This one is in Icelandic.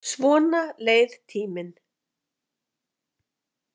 Svona leið tíminn.